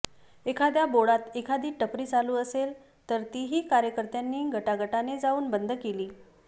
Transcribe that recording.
एखाद्या बोळात एखादी टपरी चालू असेल तर तीही कार्यकर्त्यांनी गटागटाने जाऊन बंद केली